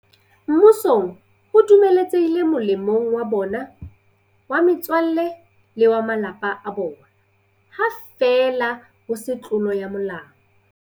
Mmusong ho dumeletse hile molemong wa bona, wa metswalle le wa ba malapa a bona, ha feela ho se tlolo ya molao.